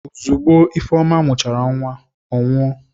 Ozugbo Ifeoma mụchara nwa, ọ nwụọ.